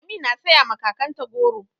Lami na saya ma kakanta goro.